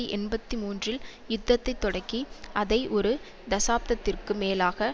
எண்பத்தி மூன்றில் யுத்தத்தை தொடக்கி அதை ஒரு தசாப்தத்திற்கு மேலாக